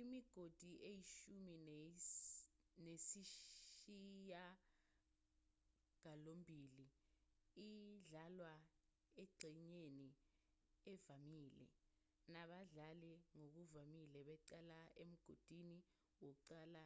imigodi eyishumi nesishiyagalombili idlalwa engxenyeni evamile nabadlali ngokuvamile beqala emgodini wokuqala